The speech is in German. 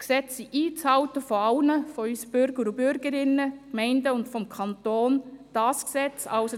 Die Gesetze sind von allen, Bürgern und Bürgerinnen, Gemeinden und Kanton, einzuhalten.